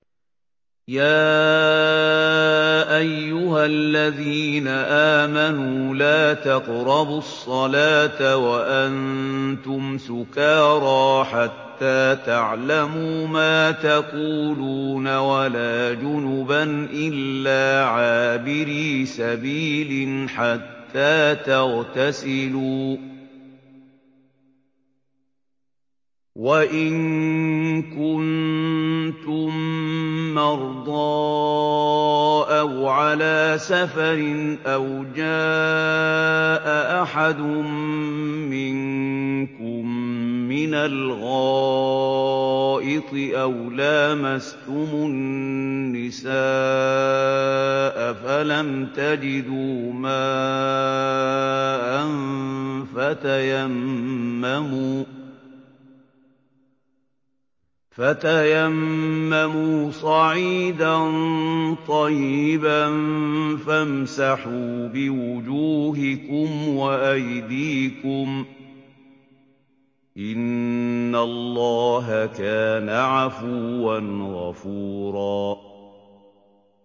يَا أَيُّهَا الَّذِينَ آمَنُوا لَا تَقْرَبُوا الصَّلَاةَ وَأَنتُمْ سُكَارَىٰ حَتَّىٰ تَعْلَمُوا مَا تَقُولُونَ وَلَا جُنُبًا إِلَّا عَابِرِي سَبِيلٍ حَتَّىٰ تَغْتَسِلُوا ۚ وَإِن كُنتُم مَّرْضَىٰ أَوْ عَلَىٰ سَفَرٍ أَوْ جَاءَ أَحَدٌ مِّنكُم مِّنَ الْغَائِطِ أَوْ لَامَسْتُمُ النِّسَاءَ فَلَمْ تَجِدُوا مَاءً فَتَيَمَّمُوا صَعِيدًا طَيِّبًا فَامْسَحُوا بِوُجُوهِكُمْ وَأَيْدِيكُمْ ۗ إِنَّ اللَّهَ كَانَ عَفُوًّا غَفُورًا